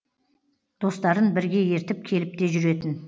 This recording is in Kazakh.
достарын бірге ертіп келіп те жүретін